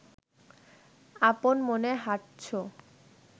আপন মনে হাঁটছো